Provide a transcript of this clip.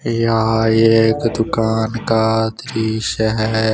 यह एक दुकान का दृश्य है।